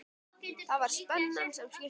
Það var spennan sem skipti máli.